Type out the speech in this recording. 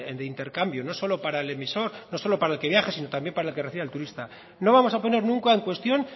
de intercambio no solo para el emisor no solo para el que viaja sino también para el que recibe al turista no vamos a poner nunca en cuestión